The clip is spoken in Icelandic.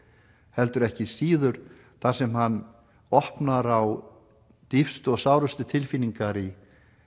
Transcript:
heldur ekki síður þar sem hann opnar á dýpstu og sárustu tilfinningar í